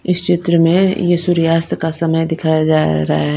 इस चित्र में ये सूर्यास्त का समय दिखाया जा रहा है।